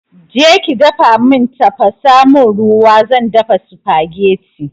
Je ki dafa mun tafasa mun ruwa zan dafa supagetti